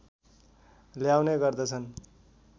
ल्याउने गर्दछन्